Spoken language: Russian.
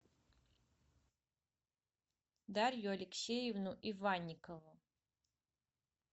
дарью алексеевну иванникову